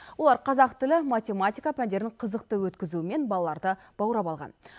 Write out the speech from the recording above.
олар қазақ тілі математика пәндерін қызықты өткізуімен балаларды баурап алған